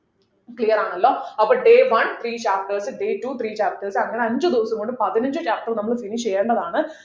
clear ആണല്ലോ അപ്പൊ day one three chapters day two three chapters അങ്ങനെ അഞ്ചു ദിവസം കൊണ്ട് പതിനഞ്ചു chapters നമ്മളു finish ചെയ്യേണ്ടതാണ്